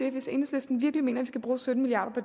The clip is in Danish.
af hvis enhedslisten virkelig mener skal bruge sytten milliard